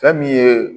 Fɛn min ye